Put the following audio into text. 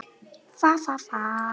Mamma var alltaf önnum kafin.